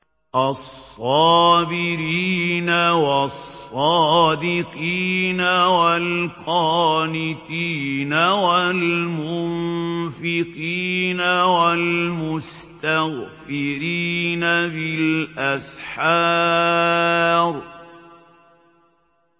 الصَّابِرِينَ وَالصَّادِقِينَ وَالْقَانِتِينَ وَالْمُنفِقِينَ وَالْمُسْتَغْفِرِينَ بِالْأَسْحَارِ